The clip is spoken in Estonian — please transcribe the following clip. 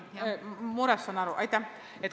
Saan sellest murest aru.